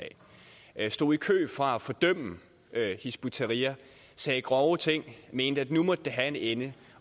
af stod i kø for at fordømme hizb ut tahrir sagde grove ting og mente at nu måtte det have en ende